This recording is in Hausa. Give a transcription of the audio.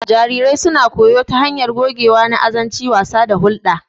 Jarirai suna koyo ta hanyar gogewa na azanci, wasa, da hulɗa.